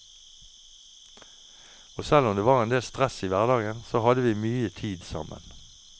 Og selv om det var endel stress i hverdagen, så hadde vi mye tid sammen.